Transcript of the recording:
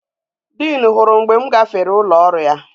Dean huru mgbe m gafere ulo oru ya